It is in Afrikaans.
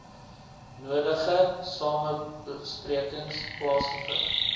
nodige samesprekings plaasgevind